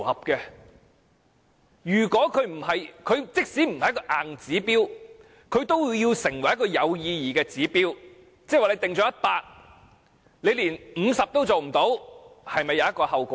我認為，即使《規劃標準》不是硬指標，都要成為有意義的指標；假如標準訂為 100， 但政府連50都做不到，是否應要承擔後果？